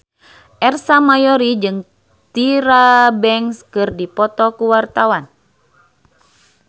Ersa Mayori jeung Tyra Banks keur dipoto ku wartawan